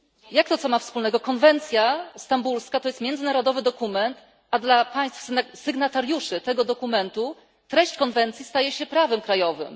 Jak to, co ma z tym wspólnego konwencja stambulska? Konwencja stambulska to jest międzynarodowy dokument, a dla państw sygnatariuszy tego dokumentu treść konwencji staje się prawem krajowym.